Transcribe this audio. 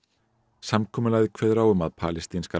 samkomulagið kveður á um að palestínskar